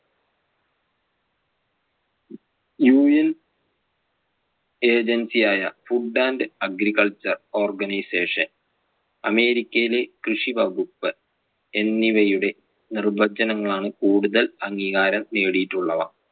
UN agency ആയ food and agriculture organisation അമേരിക്കയിലെ കൃഷി വകുപ്പ് എന്നിവയുടെ നിർവ്വചനങ്ങൾ ആണ് കൂടുതൽ അംഗീകാരം നേടിയിട്ടുള്ളവ